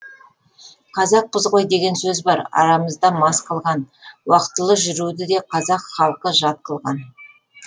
қазақпыз ғой деген сөз бар арамызда мас қылған уақытылы жүруді де қазақ халқы жат қылған